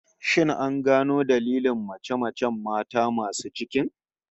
Shin an gano dailin mace-macen mata masu cikin?